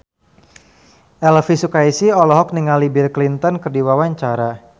Elvi Sukaesih olohok ningali Bill Clinton keur diwawancara